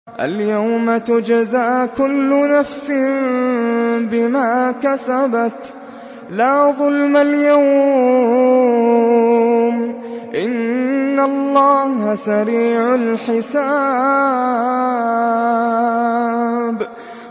الْيَوْمَ تُجْزَىٰ كُلُّ نَفْسٍ بِمَا كَسَبَتْ ۚ لَا ظُلْمَ الْيَوْمَ ۚ إِنَّ اللَّهَ سَرِيعُ الْحِسَابِ